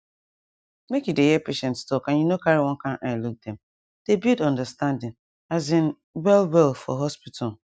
make you dey hear patients talk and you no carry one kind eye look dem dey build understanding asin well well for hospital